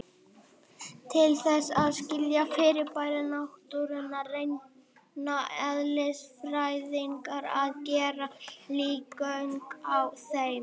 Til þess að skilja fyrirbæri náttúrunnar reyna eðlisfræðingar að gera líkön af þeim.